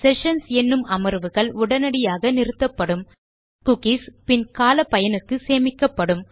sessions என்னும் அமர்வுகள் உடனடியாக நிறுத்தப்படும் குக்கீஸ் பின் கால பயனுக்கு சேமிக்கப்படும்